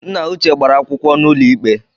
Nna uche gbara akwụkwọ n’ụlọikpe